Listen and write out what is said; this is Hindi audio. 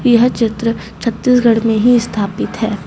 यह चित्र छत्तीसगढ़ में ही स्थापित है।